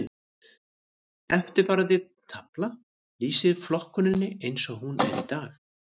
Eftirfarandi tafla lýsir flokkuninni eins og hún er í dag.